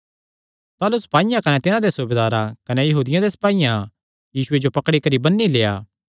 ताह़लू सपाईयां कने तिन्हां दे सूबेदार कने यहूदियां दे सपाईयां यीशुये जो पकड़ी करी बन्नी लेआ